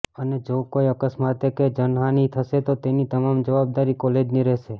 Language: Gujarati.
અને જો કોઈ અકસ્માતે કે જાનહાની થશે તો તેની તમામ જવાબદારી કોલેજની રહેશે